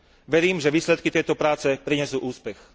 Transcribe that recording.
Verím, že výsledky tejto práce prinesú úspech.